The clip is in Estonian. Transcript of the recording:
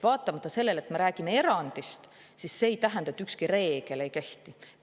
Vaatamata sellele, et me räägime erandist, ei tähenda see, et ükski reegel ei kehti.